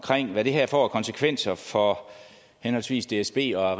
hvad det her får af konsekvenser for henholdsvis dsb og